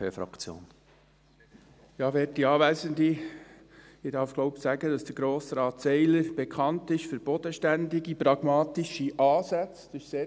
Ich denke, ich darf sagen, dass Grossrat Seiler für bodenständige, pragmatische Ansätze bekannt ist.